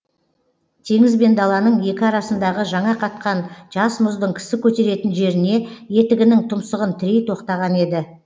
теңіз бен даланың екі арасындағы жаңа қатқан жас мұздың кісі көтеретін жеріне етігінің тұмсығын тірей тоқтаған еді